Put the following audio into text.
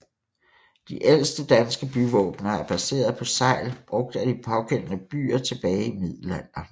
De ældste danske byvåbener er baserede på segl brugt af de pågældende byer tilbage i middelalderen